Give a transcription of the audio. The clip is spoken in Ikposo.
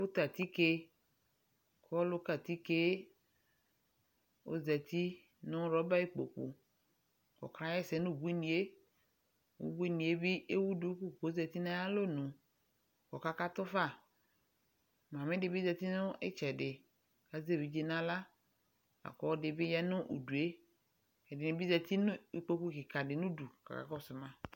Ɔlʋ ka atike , ɔlʋ ka atikee ozati nʋ rɔba ikpoku k'ɔka ɣɛsɛ n'ubuinɩɛ; ubuinɩe bɩ ewu duku k'ozati n'ayalonu k'ɔka katʋ fa Mamɩdɩ bɩ zati nʋ ɩtsɛdɩ k'azɛ evidze n'aɣla , lak'ɔlɔdɩ bɩ ya nʋ udue; ɛdɩnɩ bɩ zati n'ikpoku kɩka dɩ n'udu k'aka kɔsʋ ma